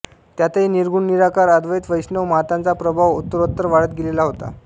त्यातही निर्गुण निराकार अद्वैत वैष्णव मताचा प्रभाव उत्तरोत्तर वाढत गेलेला होता